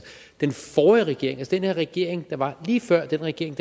den forrige regering det den regering der var lige før den regering